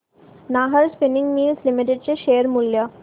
Nahar spinning mills limited चे share मूल्य